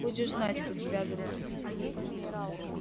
будешь знать как связываться